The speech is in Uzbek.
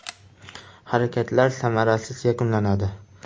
Harakatlar samarasiz yakunlanadi.